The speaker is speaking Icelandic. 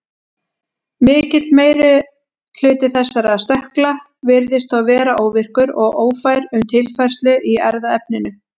Mikill meiri hluti þessara stökkla virðist þó vera óvirkur og ófær um tilfærslu í erfðaefninu.